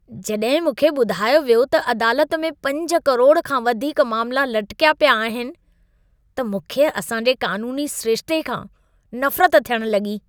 जॾहिं मूंखे ॿुधायो वियो त अदालत में 5 करोड़ खां वधीक मामला लटिकिया पिया आहिनि, त मूंखे असां जे क़ानूनी सिरिशिते खां नफ़रत थियण लॻी।